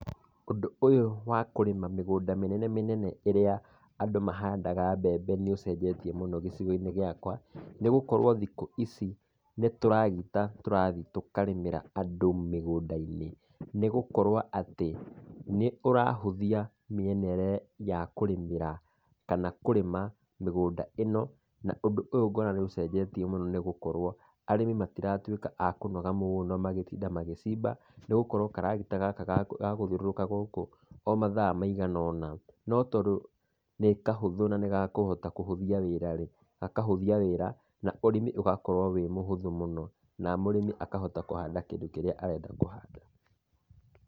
Ũndũ ũyũ wa kũrĩma mĩgũnda mĩnene mĩnene ĩrĩa andũ mahandaga mbembe nĩ ũcenjetie mũno gĩcigo-inĩ gĩakwa, nĩ gũkorwo thikũ ici nĩ tũragita tũrathi tũkarĩmĩra andũ mĩgũnda-inĩ. Nĩ gũkorwo atĩ, nĩ ũrahũthia mĩena ĩrĩa ya kũrĩmĩra kana kũrĩma mĩgũnda ĩno na ũndũ ũyũ nguona nĩ ũcenjetie mũno nĩ gũkorwo arĩmi matiratuĩka makanũga mũno magĩtinda magĩcimba nĩ gũkorwo karagita gaka ga gũthiũrũrũka gũkũ o mathaa maigana ũna no tondũ nĩ kahũthũ na nĩ gakũhota kũhũthia wĩra rĩ, gakahũthia wĩra na ũrĩmi ũgakorwo wĩ mũhũthũ mũno na mũrĩmi akahota kũhanda kĩndũ kĩrĩa arenda kũhanda.